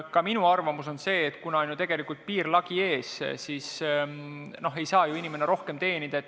Ka minu arvamus on see, et kuna tegelikult on piirlagi ees, siis ei saa ju inimene rohkem teenida.